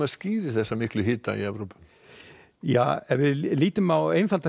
skýrir þessa miklu hita í Evrópu ef við lítum á einfalda